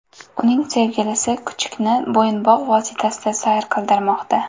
Uning sevgilisi kuchukni bo‘yinbog‘ vositasida sayr qildirmoqda.